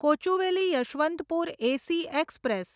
Kochuveli Yesvantpur AC express